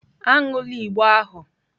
Aṅụla igbo ahụ!